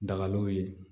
Dagalenw ye